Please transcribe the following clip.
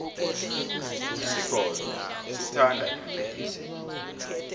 isigodlo sithanda imvelo